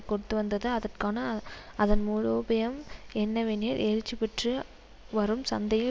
கொடுத்துவந்தது அதற்கான அதன் மூலோபயம் என்னவெனில் எழுச்சி பெற்று வரும் சந்தையில்